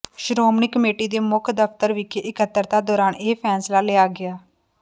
Shiromani committee ਦੇ ਮੁੱਖ ਦਫ਼ਤਰ ਵਿਖੇ ਇਕੱਤਰਤਾ ਦੌਰਾਨ ਇਹ ਫੈਸਲਾ ਲਿਆ ਗਿਆ